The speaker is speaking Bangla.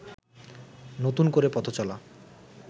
নতুন করে পথচলা